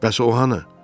Bəs o hanı?